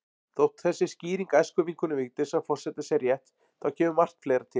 Þótt þessi skýring æskuvinkonu Vigdísar forseta sé rétt, þá kemur margt fleira til.